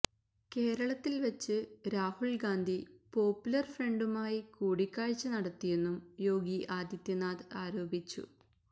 കേരളത്തില് വച്ച് രാഹുല് ഗാന്ധി പോപ്പുലര് ഫ്രണ്ടുമായി കൂടിക്കാഴ്ച നടത്തിയെന്നും യോഗി ആദിത്യനാഥ് ആരോപിച്ചു